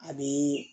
A bɛ